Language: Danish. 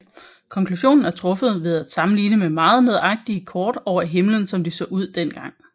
Konklusionen er truffet ved at sammenligne med meget nøjagtige kort over himlen som de så ud dengang